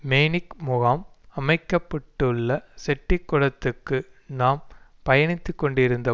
manic முகாம் அமைக்க பட்டுள்ள செட்டிக்குளத்துக்கு நாம் பயணித்து கொண்டிருந்த